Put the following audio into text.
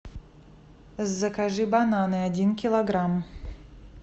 закажи бананы один килограмм